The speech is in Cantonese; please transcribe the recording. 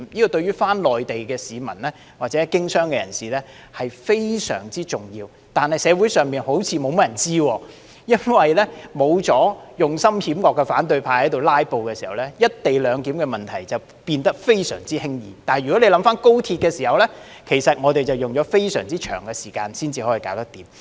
這對於返回內地的市民或經商的人士來說非常重要，但社會上好像沒有甚麼人知道，因為沒有了用心險惡的反對派"拉布"時，"一地兩檢"問題便變得非常輕易，如果大家回想在審議有關高鐵的議案時，我們卻用了非常長時間才能解決。